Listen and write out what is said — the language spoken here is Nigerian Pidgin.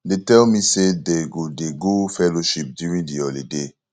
dey tell me say dey go dey go fellowship during the holiday